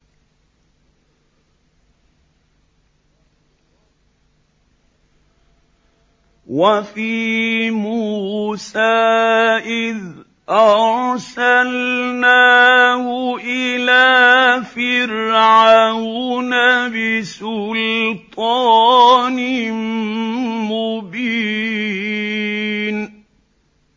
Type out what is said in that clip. وَفِي مُوسَىٰ إِذْ أَرْسَلْنَاهُ إِلَىٰ فِرْعَوْنَ بِسُلْطَانٍ مُّبِينٍ